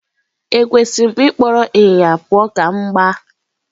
Ekwesịrị m ịkpọrọ ịnyịnya pụọ ​​ka m gbaa?